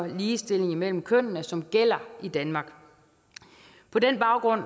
ligestilling mellem kønnene som gælder i danmark på den baggrund